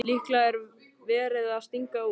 Líklega er verið að stinga út.